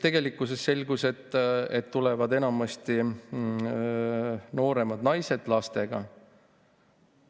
... tegelikult selgus, et tulevad enamasti nooremad naised lastega.